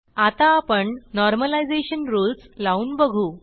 आता आपण normalization rules लावून बघू